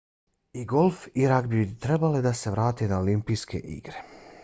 i golf i ragbi bi trebalo da se vrate na olimpijske igre